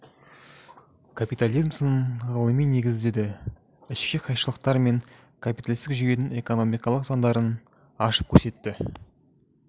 капитализм сынын ғылыми негіздеді ішкі қайшылықтар мен капиталистік жүйенін экономикалық заңдарын ашып көрсетті